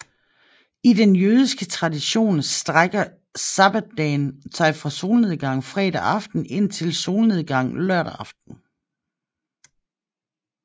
I den jødiske tradition strækker sabbatsdagen sig fra solnedgang fredag aften indtil solnedgang lørdag aften